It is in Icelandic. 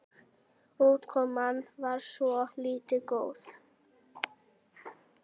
Útkoman var svona líka góð.